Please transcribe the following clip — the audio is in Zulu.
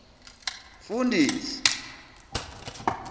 mfundisi